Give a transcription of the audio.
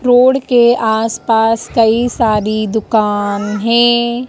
Road के आस पास कई सारी दुकान है।